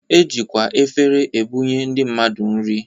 E jikwa efere ebunye ndị mmadụ nri